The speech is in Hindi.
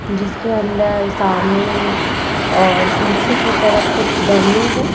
जिसके अंदर सामने और पीछे की तरफ कुछ डमी ।